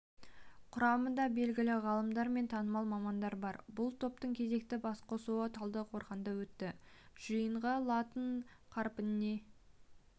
құрамында белгілі ғалымдар мен танымал мамандар бар бұл топтың кезекті басқосуы талдықорғанда өтті жиында латын қарпіне